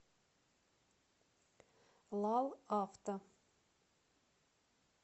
лал авто